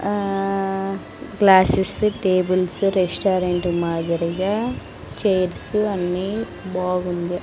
ఆ క్లాసెస్ వి tables restaurant మాదిరిగా చైర్స్ అన్నీ బాగున్న--